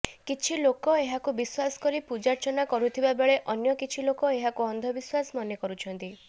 କିଛି ଲୋକ ଏହାକୁ ବିଶ୍ୱାସ କରି ପୂଜାର୍ଚ୍ଚାନ କରୁଥିବାବେଳେ ଅନ୍ୟ କିଛି ଲୋକ ଏହାକୁ ଅନ୍ଧବିଶ୍ୱାସ ମନେ କରୁଛନ୍ତି